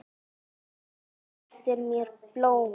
Þú réttir mér blóm.